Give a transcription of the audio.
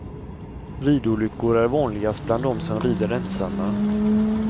Ridolyckor är vanligast bland dem som rider ensamma.